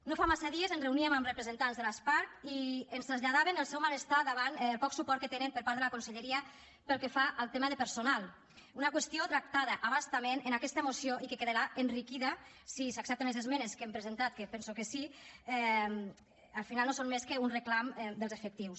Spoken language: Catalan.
no fa massa dies ens reuníem amb representants de l’asparc i ens traslladaven el seu malestar davant el poc suport que tenen per part de la conselleria pel que fa al tema de personal una qüestió tractada a bastament en aquesta moció i que quedarà enriquida si s’accepten les esmenes que hem presentat que penso que sí al final no són més que un reclam dels efectius